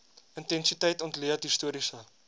intensiteit ontleed historiese